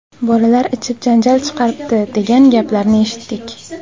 Bolalar ichib janjal chiqaribdi, degan gaplarni eshitdik.